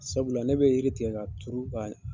Sabula ne bɛ yiri tigɛ ka turu ka